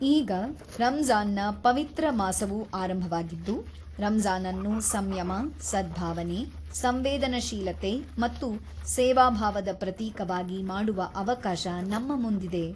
ಈಗ ರಂಜಾನ್‌ನ ಪವಿತ್ರ ಮಾಸವು ಆರಂಭವಾಗಿದ್ದು, ರಂಜಾನ್‌ನನ್ನು ಸಂಯಮ, ಸದ್ಭಾವನೆ, ಸಂವೇದನ ಶೀಲತೆ ಮತ್ತು ಸೇವಾ ಭಾವದ ಪ್ರತೀಕವಾಗಿ ಮಾಡುವ ಅವಕಾಶ ನಮ್ಮ ಮುಂದಿದೆ.